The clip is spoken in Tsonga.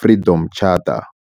Freedom Charter.